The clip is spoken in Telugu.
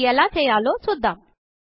అది ఎలా చేయాలో చూద్దాం